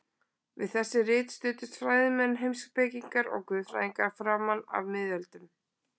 Við þessi rit studdust fræðimenn, heimspekingar og guðfræðingar framan af miðöldum.